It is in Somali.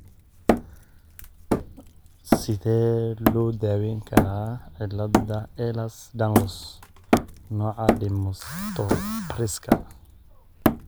Sidee loo daweyn karaa cilada Ehlers Danlos , nooca dermatosparaxiska?